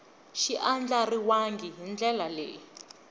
xi andlariwangi hi ndlela leyi